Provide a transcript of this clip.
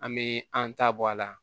An bɛ an ta bɔ a la